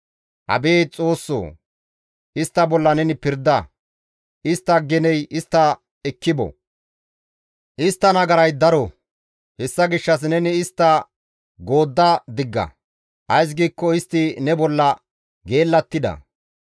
Abeet Xoossoo! Istta bolla neni pirda; istta geney istta ekki bo. Istta nagaray daro; hessa gishshas neni istta goodda digga; ays giikko istti ne bolla geellattida.